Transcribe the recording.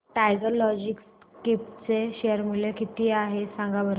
tiger Logistics चे share मूल्य किती आहे सांगा बरं